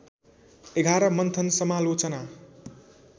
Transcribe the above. ११ मन्थन समालोचना